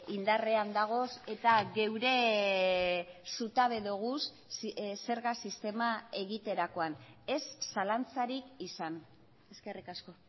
indarrean dagoz eta geure zutabe doguz zerga sistema egiterakoan ez zalantzarik izan eskerrik asko